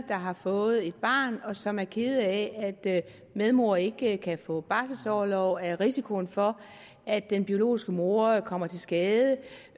der har fået et barn og som er kede af at medmor ikke kan få barselsorlov og er en risiko for at den biologiske mor kommer til skade